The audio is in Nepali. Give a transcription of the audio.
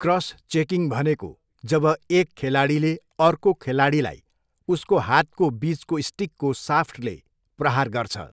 क्रस चेकिङ भनेको जब एक खेलाडीले अर्को खेलाडीलाई उसको हातको बिचको स्टिकको साफ्टले प्रहार गर्छ।